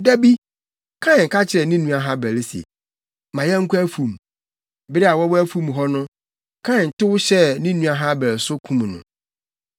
Da bi Kain ka kyerɛɛ ne nua Habel se, “Ma yɛnkɔ afum.” Bere a wɔwɔ afum hɔ no, Kain tow hyɛɛ ne nua Habel so, kum no.